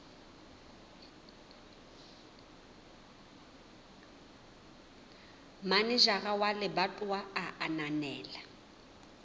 manejara wa lebatowa a ananela